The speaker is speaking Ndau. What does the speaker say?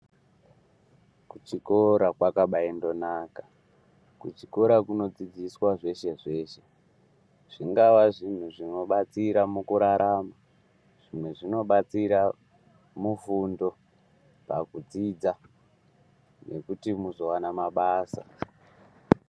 Kuchikora kwakaba naka kuchikora kunodzidziswa zveshe zveshe zvingava zvinhu zvinobatsira mukurarama zvimwe zvinobatsira mufundo pakudzidza nekuti munozowana mabasa.